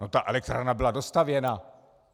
No, ta elektrárna byla dostavěna.